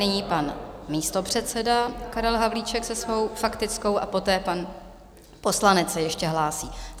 Nyní pan místopředseda Karel Havlíček se svou faktickou a poté pan poslanec se ještě hlásí.